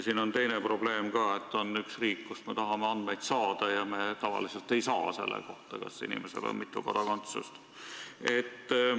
Siin on teine probleem ka: on üks riik, kust me tahame andmeid saada ja kust me tavaliselt ei saa neid selle kohta, kas inimesel on mitu kodakondsust.